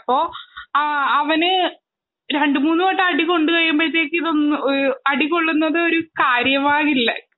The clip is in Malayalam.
അവനു രണ്ടു മൂന്നു തവണ അടികൊള്ളുന്നുമ്പോഴേക്കും അടി കൊള്ളുന്നത് ഒരു കാര്യമാവില്ല